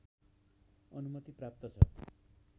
अनुमति प्राप्त छ